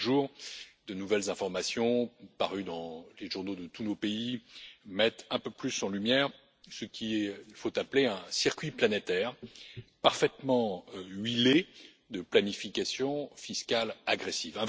Chaque jour, de nouvelles informations parues dans les journaux de tous nos pays mettent un peu plus en lumière ce qu'il faut appeler un circuit planétaire, parfaitement huilé, de planification fiscale agressive.